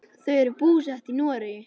Þau eru búsett í Noregi.